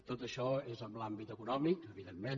tot això és en l’àmbit econòmic evidentment